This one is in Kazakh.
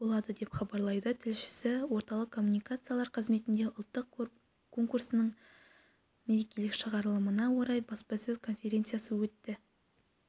болады деп хабарлайды тілшісі орталық коммуникациялар қызметінде ұлттық конкурстың мерекелік шығарылымына орай баспасөз конференциясы өттті